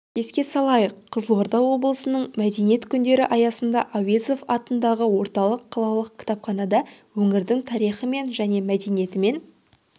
еске салайық қызылорда облысының мәдениет күндері аясында әуезов атындағы орталық қалалық кітапханада өңірдің тарихымен және мәдениетімен